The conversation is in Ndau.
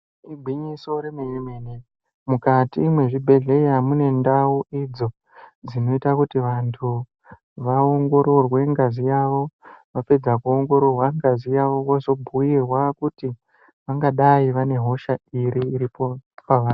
Igwinyiso remenemene mukati mwezvibhehleya mune ndau idzo dzinoita kuti vantu vaongororwe ngazi yawo ,vapedza kuongororwa ngazi yawo vozobhuyirwa kuti vangadai vane hosha iri iripo pavari.